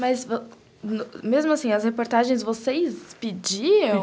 Mas, mesmo assim, as reportagens vocês pediam?